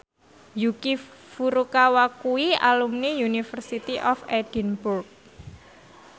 Yuki Furukawa kuwi alumni University of Edinburgh